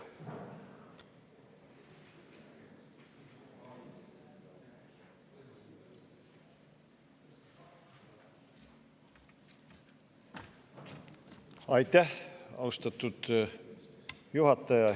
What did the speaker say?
Aitäh, austatud juhataja!